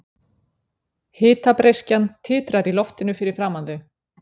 Hitabreyskjan titrar í loftinu fyrir framan þau.